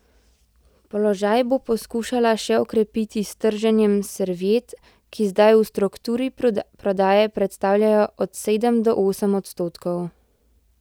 Položaj bo poskušala še okrepiti s trženjem serviet, ki zdaj v strukturi prodaje predstavljajo od sedem do osem odstotkov.